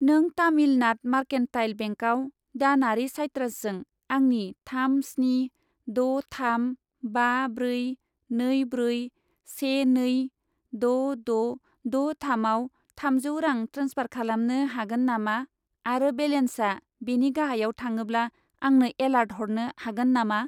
नों तामिलनाद मारकेन्टाइल बेंकआव दानारि साइट्रासजों आंनि थाम स्नि द' थाम बा ब्रै नै ब्रै से नै द' द' द' थामआव थामजौ रां ट्रेन्सफार खालामनो हागोन नामा आरो बेलेन्सा बेनि गाहायाव थाङोब्ला आंनो एलार्ट हरनो हागोन नामा?